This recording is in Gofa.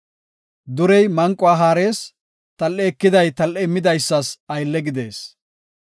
Durey manquwa haarees; tal7e ekiday tal7e immidaysas aylle gidees.